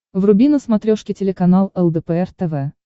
вруби на смотрешке телеканал лдпр тв